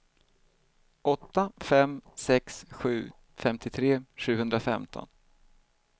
åtta fem sex sju femtiotre sjuhundrafemton